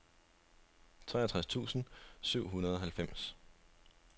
treogtres tusind syv hundrede og halvfems